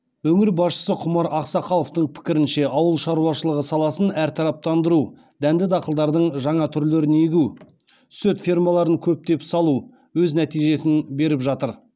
өңір басшысы құмар ақсақаловтың пікірінше ауыл шаруашылығы саласын әртараптандыру дәнді дақылдардың жаңа түрлерін егу сүт фермаларын көптеп салу өз нәтижесін беріп жатыр